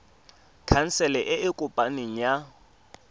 khansele e e kopaneng ya